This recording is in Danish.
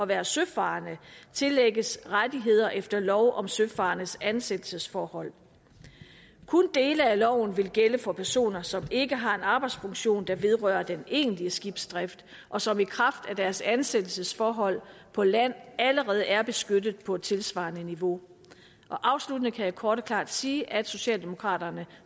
være søfarende tillægges rettigheder efter lov om søfarendes ansættelsesforhold kun dele af loven vil gælde for personer som ikke har en arbejdsfunktion der vedrører den egentlige skibsdrift og som i kraft af deres ansættelsesforhold på land allerede er beskyttet på et tilsvarende niveau afsluttende kan jeg kort og klart sige at socialdemokraterne